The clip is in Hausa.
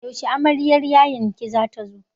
Yaushe amaryar yayan ki za ta zo?